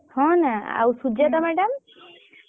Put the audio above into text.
ହଁ ନା ଆଉ ସୁଜାତା madam